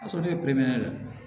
A sɔrɔ ne ye don